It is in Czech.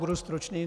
Budu stručný.